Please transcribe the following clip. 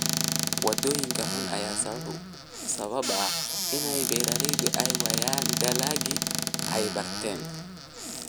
Wadooyinka xun ayaa sababa in beeralayda ay waayaan dalagii ay beertaan.